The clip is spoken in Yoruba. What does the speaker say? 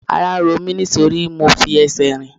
Ara ń ro mí nítorí mo fi ẹsẹ̀ rìn.